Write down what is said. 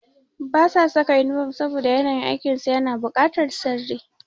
Ba su saka inifom saboda yanayin aikin su na bukatar sirri.